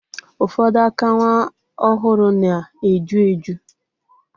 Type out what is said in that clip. Ufodu aka nwa ohuru na-eju eju.